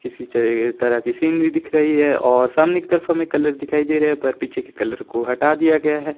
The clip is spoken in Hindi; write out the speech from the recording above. किसी सीनरी दिख रही है और सामने की तरफ हमें कलर दिखाई दे रहे है पर पीछे की कलर को हटा दिया गया है।